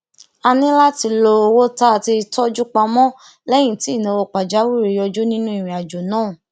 a ní láti lo owó tá a ti tójú pamó léyìn tí ìnáwó pàjáwìrí yọjú nínú ìrìnàjò náà